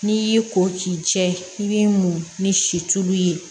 N'i y'i ko k'i jɛ i b'i mun ni si tulu ye